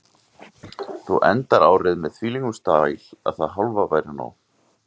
Þú endar árið með þvílíkum stæl að það hálfa væri nóg.